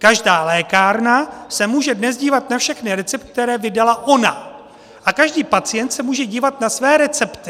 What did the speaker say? Každá lékárna se dnes může dívat na všechny recepty, které vydala ona, a každý pacient se může dívat na své recepty.